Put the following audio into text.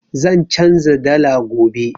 Zan canza dala gobe.